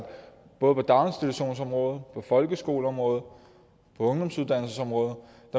både på daginstitutionsområdet på folkeskoleområdet og på ungdomsuddannelsesområdet